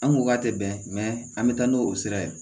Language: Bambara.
An ko k'a tɛ bɛn an bɛ taa n'o o sira ye